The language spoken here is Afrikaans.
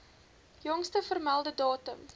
jongste vermelde datum